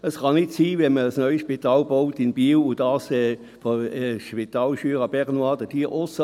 Es kann nicht sein, dass man, wenn man ein neues Spital in Biel baut, das Spital Jura bernois auslässt.